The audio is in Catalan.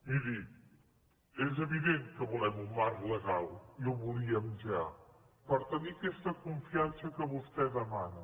miri és evident que volem un marc legal i el volíem ja per tenir aquesta confiança que vostè demana